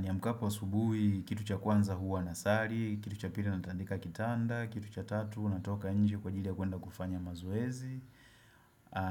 Niamkapo asubuhi, kitu cha kwanza huwa na sari, kitu cha pili natandika kitanda, kitu cha tatu, natoka nje kwa ajili ya kuenda kufanya mazoezi